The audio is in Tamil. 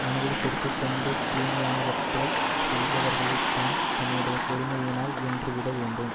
மனதில் செருக்கு கொண்டு தீமையானவற்றைச் செய்பவர்களைத் தாம் தம்முடைய பொறுமையினால் வென்றுவிடவேண்டும்